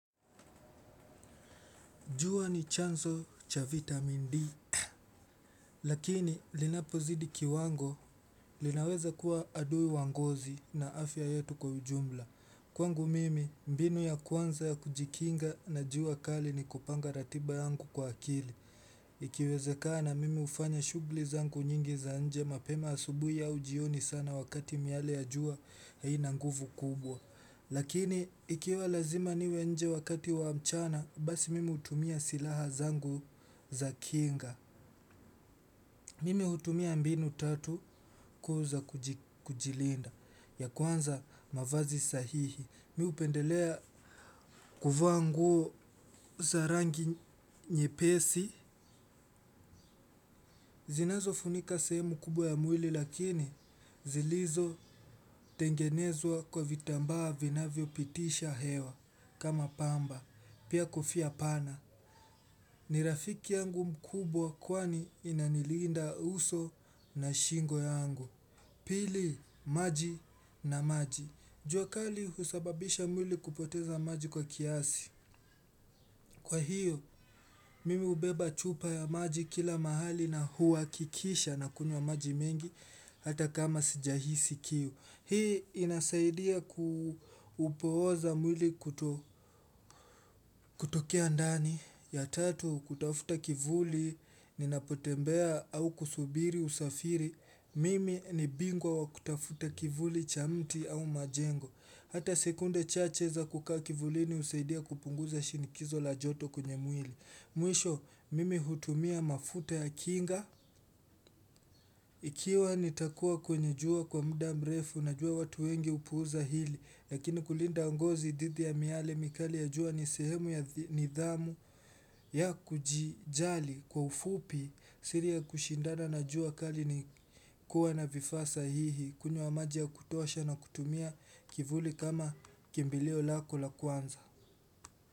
Jua ni chanzo cha vitamin D. Lakini linapo zidi kiwango linaweza kuwa adui wa ngozi na afya yetu kwa ujumla. Kwangu mimi mbinu ya kwanza ya kujikinga na jua kali ni kupanga ratiba yangu kwa akili. Ikiwezekana mimi huanya shughli zangu nyingi za nje mapema asubuhi au jioni sana wakati miale ya juu haina nguvu kubwa. Lakini ikiwa lazima niwe nje wakati wa mchana basi mimi hutumia silaha zangu za kinga. Mimi hutumia mbinu tatu kuu za kujilinda ya kwanza mavazi sahihi. Mimi hupendelea kuvaa nguo za rangi nyepesi. Zinazo funika seheu kubwa ya mwili lakini zilizo tengenezwa kwa vitambaa vinavyo pitisha hewa kama pamba. Pia kofia pana. Ni rafiki yangu mkubwa kwani inaniliinda uso na shingo yangu. Pili, maji na maji. Jua kali husababisha mwili kupoteza maji kwa kiasi. Kwa hiyo, mimi hubeba chupa ya maji kila mahali na huwa kikiisha nakuywa maji mengi hata kama sijahisi kiu. Hii inasaidia kupooza mwili kutokea ndani ya tatu kutafuta kivuli ninapotembea au kusubiri usafiri mimi ni bingwa wa kutafuta kivuli cha mti au majengo. Hata sekunde chache za kukaa kivulini husaidia kupunguza shinikizo la joto kwenye mwili. Mwisho mimi hutumia mafuta ya kinga ikiwa nitakuwa kwenye jua kwa muda mrefu najua watu wengi hupuuza hili lakini kulinda ngozi dhidi ya miale mikali ya jua nibsehemu ya nidhamu ya kujijali kwa ufupi siri ya kushindana na jua kali ni kuwa na vifaa sahihi kunywa maji ya kutosha na kutumia kivuli kama kimbilio lako la kwanza.